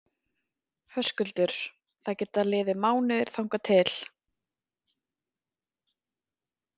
Höskuldur: Það geta liðið mánuðir þangað til?